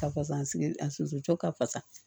Ka fasa sigi a soso cɔ ka fasa